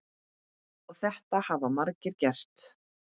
Og þetta hafa margir gert.